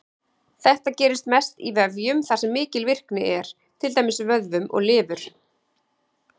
Þetta gerist mest í vefjum þar sem mikil virkni er, til dæmis vöðvum og lifur.